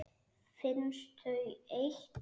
Finnst þau eitt.